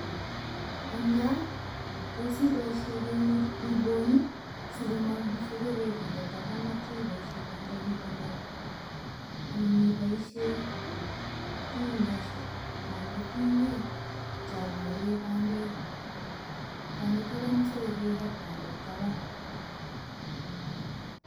Eng gaa, tos iboisie geut ibony, sigomong msogorek inde taban atio iboisie bandek igonor, anan iboisie tingeshek anan ko tingok cho bore bandek konde taban musogorek ak bandek taban.